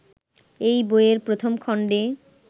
এই বইয়ের প্রথম খণ্ডে